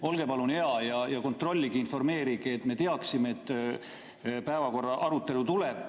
Olge palun hea ja kontrollige ning informeerige, et me teaksime, et päevakorrapunkti arutelu tuleb.